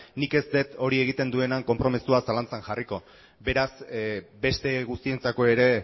nik ez dut hori egiten duenaren konpromisoa zalantzan jarriko beraz beste guztientzako ere